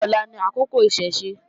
Ṣé ọ̀la ni àkókò Ìṣẹ̀ṣe?